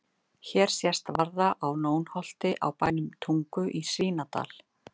Hér sést varða á Nónholti á bænum Tungu í Svínadal.